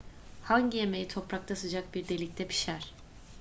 hangi yemeği toprakta sıcak bir delikte pişer